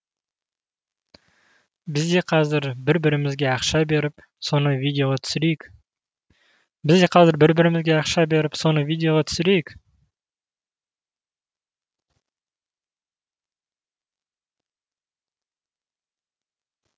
біз де қазір бір бірімізге ақша беріп соны видеоға түсірейік